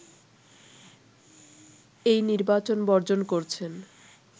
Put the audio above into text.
এই নির্বাচন বর্জন করছেন